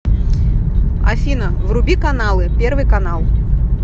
афина вруби каналы первый канал